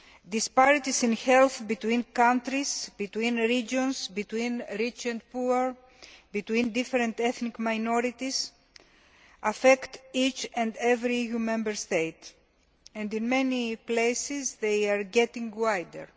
Disparities in health between countries, between regions, between rich and poor, between different ethnic minorities, affect each and every EU Member State and, in many places, they are getting wider.